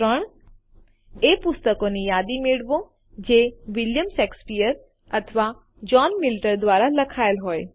૩એ પુસ્તકોની યાદી મેળવો જે વિલિયમ સેક્સપિયર અથવા જોહ્ન મિલ્ટન દ્વારા લખાયેલ હોય